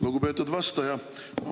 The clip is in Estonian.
Lugupeetud vastaja!